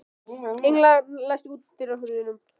Engla, læstu útidyrunum.